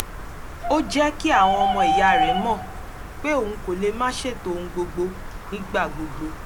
ó jẹ́ kí àwọn ọmọ ìyá rẹ̀ mọ̀ pé òun kò lè máa ṣètò ohun gbogbo nígbà gbogbo